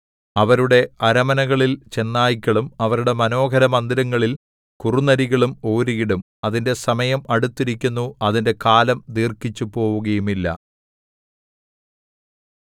അവരുടെ അരമനകളിൽ ചെന്നായ്ക്കളും അവരുടെ മനോഹരമന്ദിരങ്ങളിൽ കുറുനരികളും ഓരിയിടും അതിന്റെ സമയം അടുത്തിരിക്കുന്നു അതിന്റെ കാലം ദീർഘിച്ചുപോവുകയുമില്ല